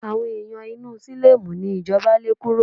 Àwọn ẹ̀yàn inú sílọ́mù ni ìjọba lé kúrò.